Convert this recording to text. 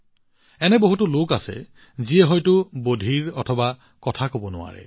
এনে বহুতো লোক আছে যিয়ে হয়তো শুনিব নোৱাৰে বা কথা কব নোৱাৰে